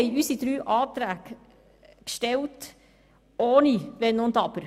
Wir aber haben unsere drei Anträge gestellt, ohne Wenn und Aber.